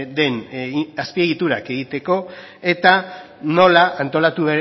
den azpiegiturak egiteko eta nola antolatu